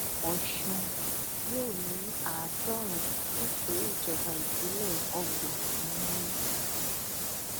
ọṣùn yóò ní àádọrùnún nítorí ìjọba ìbílẹ ọgbọn ni wọn ní